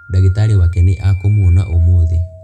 Ndagitarĩ wake nĩ akũmũona ũmũthĩ.